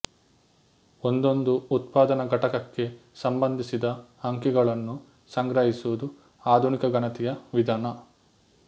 ಒಂದೊಂದು ಉತ್ಪಾದನ ಘಟಕಕ್ಕೆ ಸಂಬಂಧಿಸಿದ ಅಂಕಿಗಳನ್ನು ಸಂಗ್ರಹಿಸುವುದು ಆಧುನಿಕ ಗಣತಿಯ ವಿಧಾನ